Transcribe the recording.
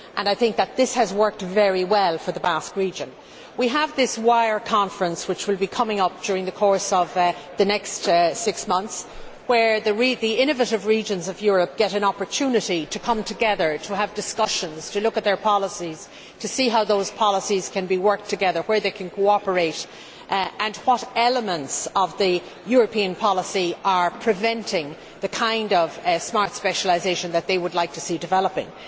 I think that this has worked very well for the Basque region. The WIRE Conference will be coming up during the next six months, giving the innovative regions of Europe an opportunity to come together, to have discussions, to look at their policies, to see how those policies can be worked together, where they can cooperate, and what elements of the European policy are preventing the kind of smart specialisation that they would like to see developing.